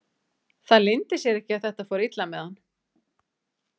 Það leyndi sér ekki að þetta fór illa með hann.